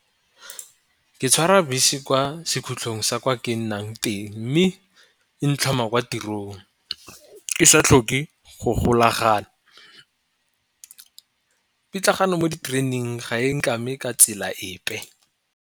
Ke tshwara bese kwa se khutlhong sa kwa ke nnang teng, mme e ntlhoma kwa tirong ke sa tlhoke go golagana. Pitlagano mo ditereneng ga e nkame ka tsela epe.